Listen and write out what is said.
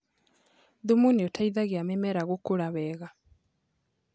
Thumu nĩũteithagia mĩmera gũkũra wega